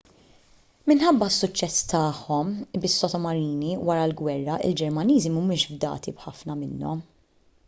minħabba s-suċċess tagħhom bis-sottomarini wara l-gwerra il-ġermaniżi mhumiex fdati b'ħafna minnhom